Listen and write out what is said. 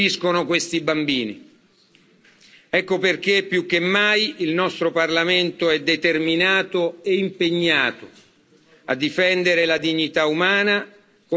Ecco perché, più che mai, il nostro Parlamento è determinato e impegnato a difendere la dignità umana, come sancito nei nostri trattati.